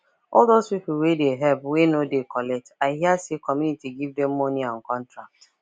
all those people wey dey help wey no dey collect i hear say community give them money and contract